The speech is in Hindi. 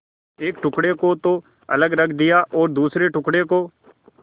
एक टुकड़े को तो अलग रख दिया और दूसरे टुकड़े को